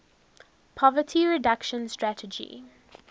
poverty reduction strategy